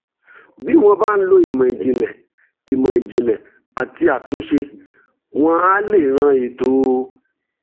bí wọ́n bá ń lo ìmọ̀ ìjìnlẹ̀ ìmọ̀ ìjìnlẹ̀ àti àtúnṣe wọ́n á lè ran ètò